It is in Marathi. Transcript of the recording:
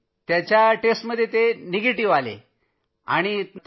त्यांच्या चाचणीचे निकाल निगेटिव्ह आले होते